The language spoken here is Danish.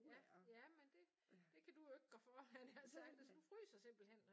Ja ja men det det kan du jo ikke gør for havde jeg nær sagt hvis du fryser simpelthen